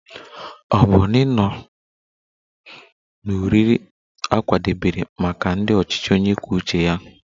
Ọ bụrụ na ị nọ n'oriri a kwadebere maka ndị ọchịchị onye kwuo uche ya